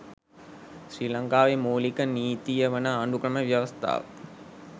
ශ්‍රී ලංකාවේ මූලික නීතිය වන ආණ්ඩුක්‍රම ව්‍යවස්ථාව